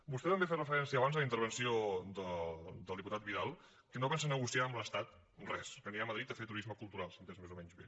vostè també ha fet referència abans en la intervenció del diputat vidal que no pensa negociar amb l’estat res que anirà a madrid a fer turisme cultural si ho he entès més o menys bé